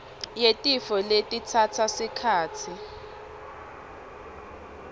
yetifo letitsatsa sikhatsi